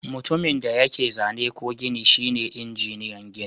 Mutumin da yake zane ko gini shine injiniyan gini.